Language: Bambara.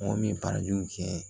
Mɔgɔ min barajuru kɛ